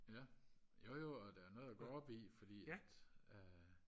ja jojo og da noget at gå op i fordi at øh